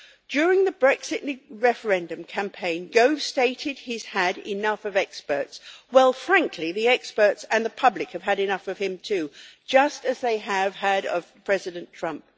During the Brexit referendum campaign, Gove stated that he had enough of experts. Well, frankly, the experts and the public have had enough of him, too, just as they have had of President Trump.